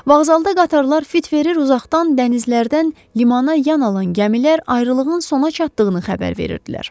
Vağzalda qatarlar fit verir, uzaqdan dənizlərdən limana yan alan gəmilər ayrılığın sona çatdığını xəbər verirdilər.